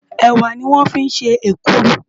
Èwá lò fi n sé ékùrú